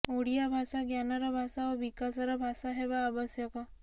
ଓଡ଼ିଆ ଭାଷା ଜ୍ଞାନର ଭାଷା ଓ ବିକାଶର ଭାଷା ହେବା ଆବଶ୍ୟକ